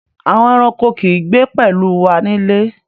Àwọn ẹ̀ràṇkò kì í gbé pẹ̀lú wà nílé.